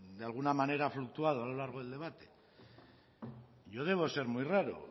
de alguna manera ha fluctuado a lo largo del debate yo debo de ser muy raro